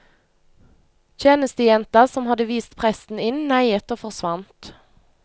Tjenestejenta som hadde vist presten inn neiet og forsvant.